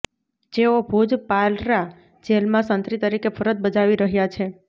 જેઓ ભુજ પાલરા જેલમાં સંત્રી તરીકે ફરજ બજાવી રહ્યા છે